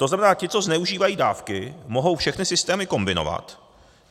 To znamená, ti, co zneužívají dávky, mohou všechny systémy kombinovat.